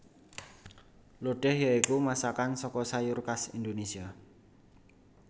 Lodéh ya iku masakan saka sayur khas Indonésia